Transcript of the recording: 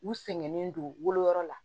U sɛgɛnnen don woloyɔrɔ la